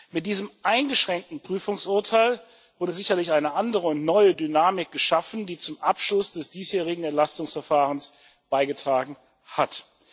Mit diesem eingeschränkten Prüfungsurteil wurde sicherlich eine andere und neue Dynamik geschaffen, die zum Abschluss des diesjährigen Entlastungsverfahrens beigetragen hat.